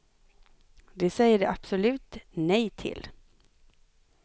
Det säger de absolut nej till.